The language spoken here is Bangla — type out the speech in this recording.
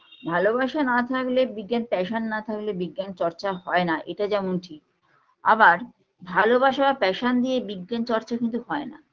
ভালোবাসা না থাকলে বিজ্ঞান passion না থাকলে বিজ্ঞান চর্চা হয়না এটা যেমন ঠিক আবার ভালোবাসা passion দিয়ে বিজ্ঞান চর্চা কিন্তু হয়না